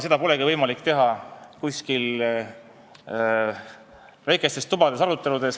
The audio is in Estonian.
Seda pole võimalik teha väikestes tubades arutades.